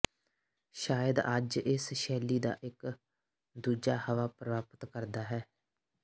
ਸ਼ਾਇਦ ਅੱਜ ਇਸ ਸ਼ੈਲੀ ਦਾ ਇੱਕ ਦੂਜਾ ਹਵਾ ਪ੍ਰਾਪਤ ਕਰਦਾ ਹੈ